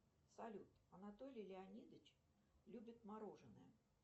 салют анатолий леонидович любит мороженое